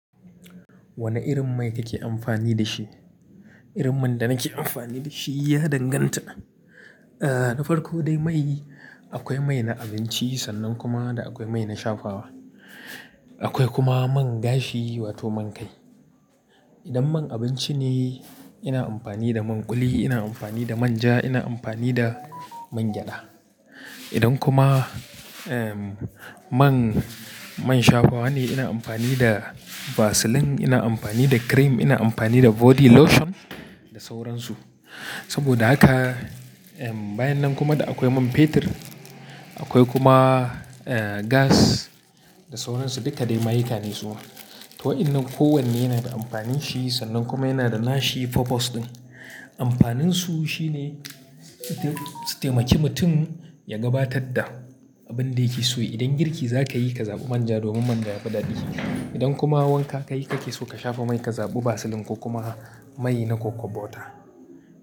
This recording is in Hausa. Wane irin mai kake amfani da shi? Irin man da nake amfani da shi ya danganta. Eh, na farko dai mai akwai mai na abinci sannan kuma akwai mai na shafawa. Akwai kuma man gashi wato man kai. Idan man abinci ne ina amfani da man kuli, ina amfani da manja, ina amfani da mangyada. Idan kuma, man, man shafawa ne ina amfani da vaseline, ina amfani da cream, ina amfani da body lotion da sauransu. Saboda haka, bayan nan kuma da akwai man fetur akwai kuma, gas da sauransu duka dai ma'aikane su. To wa'innan kowanne yana da amfanin shi sannan kuma yana da nashi purpose ɗin. Amfanin su shine ite su taimaki mutum ya gabatar da abin da yake so. Idan girki za ka yi ka zaɓi manja domin manja yafi daɗi. Idan kuma wanka ka yi kake so ka shafa mai ka zaɓi vaseline ko kuma mai na kokwabo ta.